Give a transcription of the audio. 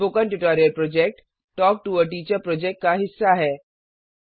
spoken tutorial project talk to a teacher project का हिस्सा है